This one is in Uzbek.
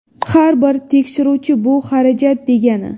Har bir tekshiruvchi bu xarajat degani.